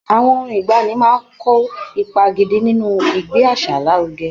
Àwọn orin ìgbaanì máa ń kó ipa gidi nínú ìgbé àṣà lárugẹ.